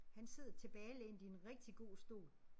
Han sidder tilbagelænet i en rigtig god stol